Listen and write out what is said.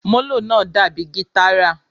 Molo náá dabi gitára